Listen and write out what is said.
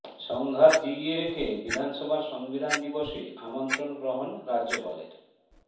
সংঘাত জিইয়ে রেখে বিধানসভার সংবিধান দিবসে আমন্ত্রণ গ্রহণ রাজ্যপালের